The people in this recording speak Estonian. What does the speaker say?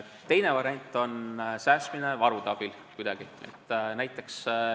Teine variant on säästmine varude abil.